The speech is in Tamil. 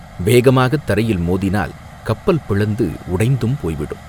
வேகமாகத் தரையில் மோதினால் கப்பல் பிளந்து உடைந்தும் போய்விடும்.